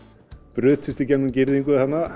brutust í gegnum girðingu þarna